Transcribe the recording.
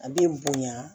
A bɛ bonya